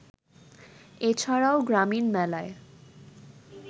এ ছাড়াও গ্রামীণ মেলায়